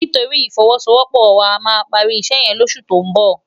Nitóri ifòwòsówòpò wá àmá pàri isè yèn lòsè tó n bò